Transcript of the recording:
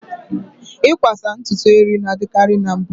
Ịkwasa ntutu eri na-adịkarị na mbụ.